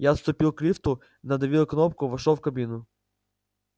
я отступил к лифту надавил кнопку вошёл в кабину